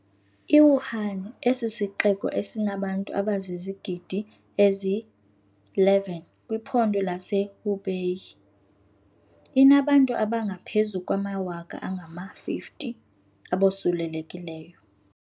I-Wuhan, esisixeko esinabantu abazizigidi ezi-11 kwiphondo lase-Hubei, inabantu abangaphezu kwamawaka angama-50 abosulelekileyo.